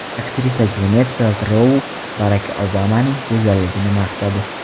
Aktrisa Gvinet Peltrou Barak Obamaning go‘zalligini maqtadi.